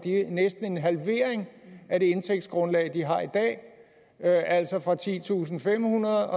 næsten en halvering af det indtægtsgrundlag de har i dag altså fra titusinde og femhundrede